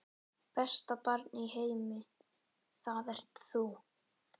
Besta barn í heimi, það ert þú.